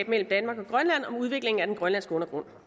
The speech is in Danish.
mellem danmark og grønland om udvikling af den grønlandske undergrund